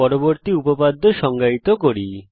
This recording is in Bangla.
পরবর্তী উপপাদ্য সংজ্ঞায়িত করি